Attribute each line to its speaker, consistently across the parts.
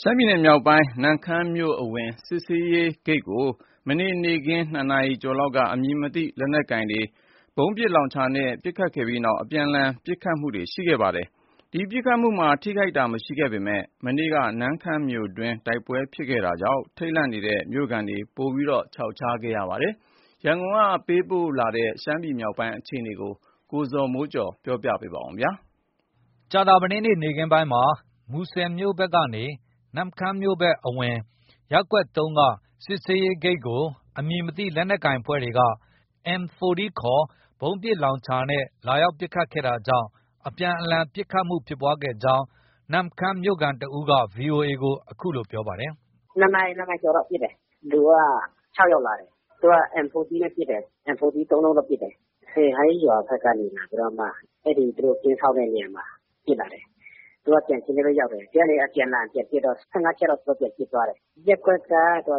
Speaker 1: ရှမ်းပြည်နယ်မြောက်ပိုင်း နမ့်ခမ်းမြို့အဝင် စစ်ဆေးရေးဂိတ်ကို ဇန်နဝါရီလ ၆ ရက် ကြာသပတေးနေ့ နေ့ခင်း ၂ နာရီကျော်လောက်က အမည်မသိ လက်နက်ကိုင်တွေက ဗုံးပစ်လောင်ချာနဲ့ ပစ်ခတ်ခဲ့ပြီးနောက် အပြန်အလှန် ပစ်ခတ်မှုတွေဖြစ်ပွားခဲ့ပါတယ်။ ဒီပစ်ခတ်မှုမှာ ထိခိုက်သူမရှိပေမဲ့ မနေ့တုန်းက နမ့်ခမ်းမြို့တွင်းမှာ တိုက်ပွဲဖြစ်ထားတာကြောင့် ထိတ်လန့်နေတဲ့ မြို့ခံတွေ ပိုမို ခြောက်ခြားခဲ့ရပါတယ်။ ရန်ကုန်ကလာတဲ့ ရှမ်းပြည်နယ် မြောက်ပိုင်းက သတင်းကို ကိုဇော်မိုးကျော် က ပြောပြပါမယ်။ မူဆယ်မြို့ဘက်နေ နမ့်ခမ်းမြို့အဝင် ရပ်ကွက် ၃ က စစ်ဆေးရေးဂိတ်ကို အမည်မသိ လက်နက်ကိုင်တွေက M 40 ခေါ် ဗုံးပစ်လောင်ချာနဲ့ ဇန်နဝါရီလ ၆ ရက် ကြာသပတေးနေ့က လာရောက်ပစ်ခတ်တာကြောင့် အပြန်အလှန် ပစ်ခတ်မှု ဖြစ်ပွားခဲ့ကြောင်း နမ့်ခမ်းမြို့ခံတစ်ဦးက VOA ကို အခုလို ပြောပါတယ်
Speaker 2: ။ “၂ နာရီ၊ ၂နာရီကျော်လောက် ပစ်တယ်။ လူက ၆ယောက်လာတယ်။ သူက M 40 နဲ့ ပစ်တယ်။ M 40 သုံးလုံးတော့ ပစ်တယ်။ စယ်ဟိုင်းရွာဘက်ကနေ လာပြီးတော့ပစ်တယ်။ အဲဒီ သူတို့ ကင်းစောင့်တဲ့နေရာမှာ ပစ်လာတယ်။ သူက ကြံခင်းထဲပဲ ရောက်တယ်။ ဒီကနေ အပြန်အလှန်ပြန်ပစ်တော့ ၁၅ချက်လောက် ပြန်ပစ်သွားတယ်။ ရပ်ကွက်က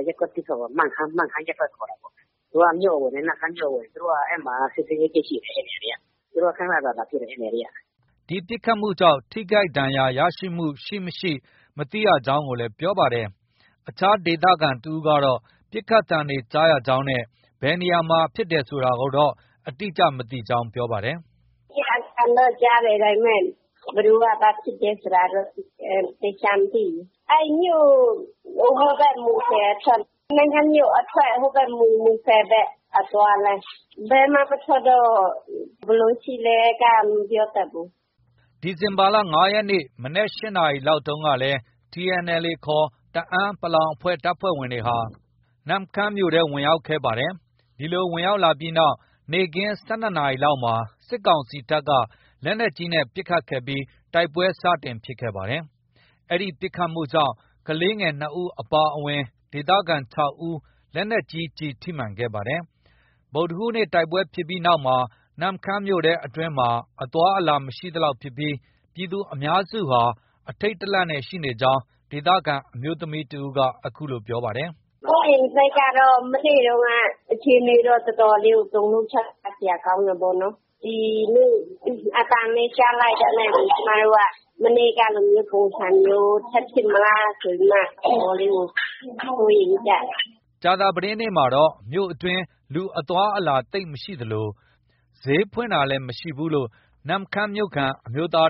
Speaker 2: ရပ်ကွက် ၁ပေါ့။ မန့်ခမ်း ရပ်ကွက်ခေါ်တာပေါ့။ သူက မြို့အဝင် နမ့်ခမ်းမြို့အဝင် အဲဒီမှာ စစ်ဆေးရေးဂိတ်ရှိတယ်။ သူတို့ ခန ခန လာပစ်တယ် အဲဒီန
Speaker 1: ေရာတွေက။” ဒီပစ်ခတ်မှုကြောင့် ထိခိုက်ဒဏ်ရာရတာ မကြားသိရဘူးလို့လည်း ပြောပါတယ်။ အခြားဒေသခံတစ်ဦးကလည်း ပစ်ခတ်သံတွေကြားရကြောင်း ခုလိုပြောပါတယ်
Speaker 3: ။ “နေ့ခင်းက အသံတော့ ကြားတယ်။ ဒါပေမဲ့ ဘယ်သူက ဘာဖြစ်တယ်ဆိုတာတော့ သေချာမသိဘူး။ အဲဒီမြို့ အဝင်ဘက် မူဆယ်အထွက်၊ နမ့်ခမ်းမြို့အထွက် ဟိုး မူဆယ်ဘက် အသွားလမ်း၊ ဘယ်မှ မထွက်တော့ ဘယ်လိုရှိလဲက မပြော
Speaker 1: တတ်ဘူး။” ဇန်နဝါရီလ ၅ ရက် ဗုဒ္ဓဟူးနေ့ မနက် ၈နာရီလောက်က TNLA ခေါ် တအန်း(ပလောင်) တပ်ဖွဲ့ဝင်တွေဟာ နမ့်ခမ်းမြို့ထဲ အင်အားပြ ဝင်ရောက်ခဲ့ကြပါတယ်။ ဒီလို ဝင်ရောက်လာပြီးနောက် နေ့ခင်း ၁၂ နာရီလောက်မှာ စစ်ကောင်စီတပ်က လက်နက်ကြီးနဲ့ပစ်ခတ်ခဲ့ပြီး တိုက်ပွဲ စတင်ဖြစ်ခဲ့ပါတယ်။ ဒီပစ်ခတ်မှုကြောင့် ကလေးငယ် ၂ ဦးအပါအဝင် ဒေသခံ ၆ ဦး လက်နက်ကြီးကျည်ထိမှန်ခဲ့ပါတယ်။ ဗုဒ္ဓဟူးနေ့ တိုက်ပွဲဖြစ်ပြီးနောက်မှာ နမ့်ခမ်းမြို့အတွင်းမှာ အသွားအလာ မရှိသလောက်ဖြစ်ပြီး ပြည်သူအများစုဟာ အထိတ်တလန့်နဲ့ ရှိနေကြောင်း ဒေသခံအမျိုးသမီးက အခုလို ဆက်ပြောပါတယ်။
Speaker 3: “ စိုးရိမ်စိတ်က မနေ့တုံးက အခြေအနေတော့ တော်တော်လေးကို တုန်လှုပ်ခြောက်ခြားစရာ ကောင်းတယ်ပေါ့နော်။ ဒီနေ့ အသံပဲ ကြားလိုက်တာနဲ့ကို ကျမတို့က မနေ့ကလိုမျိုး ပုံစံမျိုး ထပ်ဖြစ်မလားဆိုပြီးမှ တော်တော်လေးကို စိုးရိမ်နေကြတယ်။
Speaker 1: ” ကြာသပတေးနေ့မှာတော့ မြို့အတွင်း လူအသွား အလာ သိပ်မရှိသလို ဈေးဖွင့်တာလည်း မရှိဘူးလို့ နမ့်ခမ်းမြို့ခံ အမျိုးသားက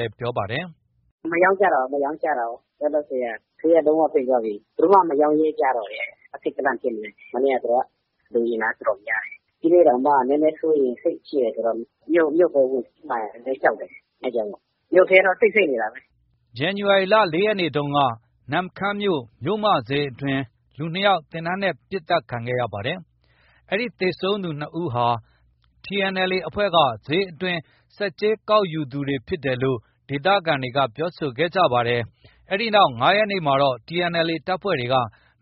Speaker 1: လည်း ပြောပါတယ်
Speaker 2: ။ “မရောင်းကြတော့ဘူး၊ မရောင်းကြတော့ဘူး။ ဈေးက လုံး၀ ပိတ်သွားပြီ။ ဘယ်သူမှ မရောင်းရဲကြဘူး။ အထိတ်တလန့်ဖြစ်နေပြီ။ မနေ့ သူတို့က လူအင်အား တော်တော်များတယ်။ ဒီနေ့တောင်မှ နည်းနည်းစိုးရိမ်စိတ်ရှိတယ်ဆိုတော့ မြို့ကို ဝင်စီးမှာလည်း ကြောက်တယ်။ အဲဒါကြောင့်မို့ ။ မြို့ထဲတော့ တိတ်ဆိတ်နေတာပဲ
Speaker 1: ။” နမ့်ခမ်းမြို့ မြို့မဈေးအတွင်းမှာ ဇန်နဝါရီလ ၄ ရက်နေ့ကလည်း လူ ၂ယောက် သေနတ်နဲ့ ပစ်ခတ်သတ်ဖြတ်ခံခဲ့ရပါတယ်။ ဒီသေဆုံးသူ ၂ ယောက်ဟာ TNLA အဖွဲ့က ဈေးအတွင်း ဆက်ကြေး ကောက်ယူသူတွေဖြစ်ကြောင်း ဒေသခံတွေက ပြောဆိုကြပါတယ်။ ဒီအဖြစ်အပျက်ဖြစ်ပြီး ၅ ရက်နေ့မှာ TNLA တပ်ဖွဲ့တွေက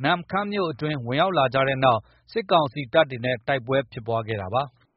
Speaker 1: နမ့်ခမ်းမြို့တွင်း ဝင်ရောက် လာကြတဲ့နောက် စစ်ကောင်စီတပ်နဲ့ တိုက်ပွဲဖြစ်ပွားခဲ့တာပါ။